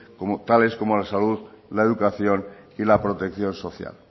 tales como la salud la educación y la protección social